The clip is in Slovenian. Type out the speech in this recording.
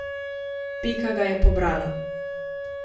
Pika ga je pobrala.